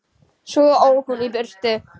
Svo ók hún í burtu.